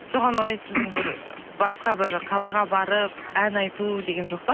соған орай басқа бір қалаға барып ән айту деген жоқ па